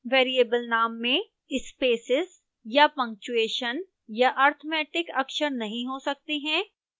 variable नाम में spaces या punctuation या arithmetic अक्षर नहीं हो सकते हैं